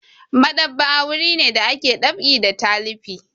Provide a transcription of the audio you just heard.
Maɗ'aba'a wuri ne da ake ɗab'i da talifi.